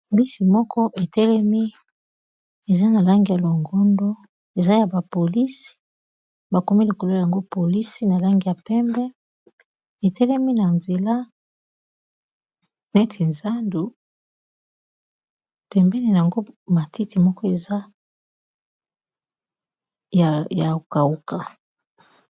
Bus moko etelemi eza na langi ya longondo eza ya ba polisi, bakomi likolo nango polisi na langi ya pembe etelemi na nzela neti zandu pembene nango matiti moko eza ya kauka.